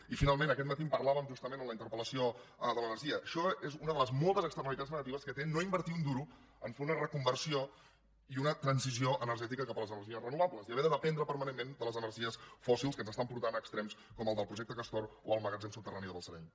i finalment aquest matí en parlàvem justament a la interpel·lació de l’energia això és una de les moltes externalitats negatives que té no invertir un duro a fer una reconversió i una transició energètica cap a les energies renovables i haver de dependre permanentment de les energies fòssils que ens estan portant a extrems com el del projecte castor o el magatzem subterrani de balsareny